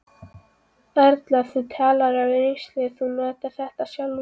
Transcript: Erla: Þú talar af reynslu, þú notar þetta sjálfur?